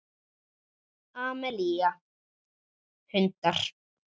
Amelía: Hundar.